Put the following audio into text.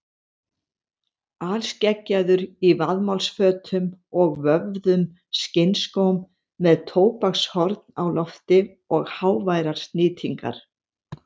Alskeggjaður í vaðmálsfötum og vöfðum skinnskóm með tóbakshorn á lofti og háværar snýtingar.